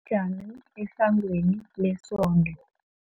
jame esangweni lesonto.